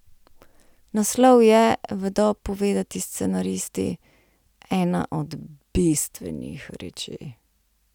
Naslov je, vedo povedati scenaristi, ena od bistvenih reči.